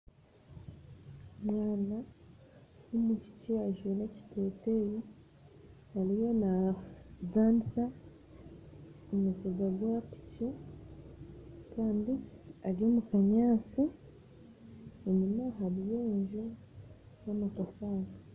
Omwana w'omwishiki ajwire ekiteteya ariyo nazanisa omuziga gwapiki kandi ari omukanyansi, enyima hariy'o enju y'amatafari.